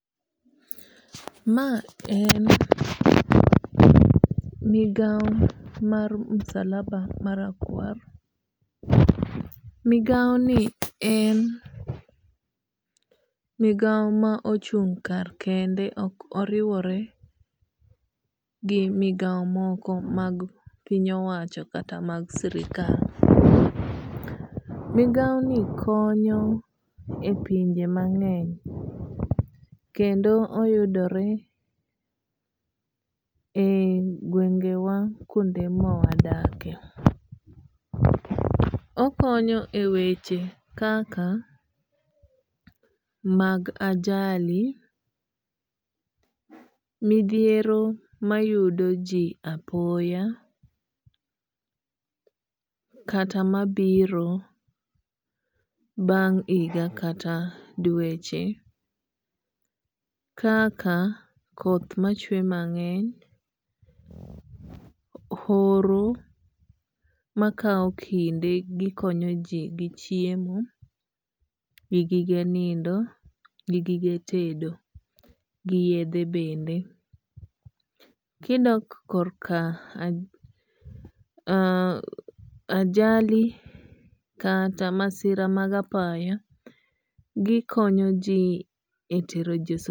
Ma en migawo mar misalaba ma rakwar. Migawo ni en migawo ma ochung' kar kende. Ok oriwore gi migawo moko mag piny owacho kata mag sirkal. Migawo ni konyo e pinje mang'eny kendo oyudore e gwenge wa kuonde ma wadakie. Okonyo e weche kaka mag ajali, midhiero mayudo ji apoya, kata mabiro bang' higa kata dweche kaka koth machwe mang'eny, horo makaw kinde gikonyo ji gi chiemo, gi gige nindo, gi gige tedo, gi yedhe bende. Kidok kor ka ajali kata masira mag apaya gikonyo ji e tero ji